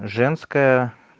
женская